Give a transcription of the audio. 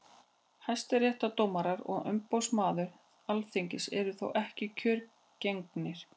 hæstaréttardómarar og umboðsmaður alþingis eru þó ekki kjörgengir